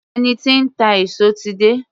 Ẹni tí ń ta èso ti dé